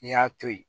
N'i y'a to yen